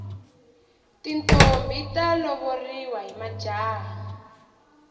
tintombhi ta lovoriwa hi majaha